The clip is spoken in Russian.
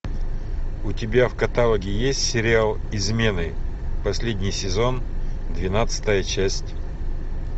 у тебя в каталоге есть сериал измены последний сезон двенадцатая часть